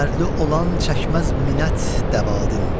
Dərdli olan çəkməz minnət dəvadin.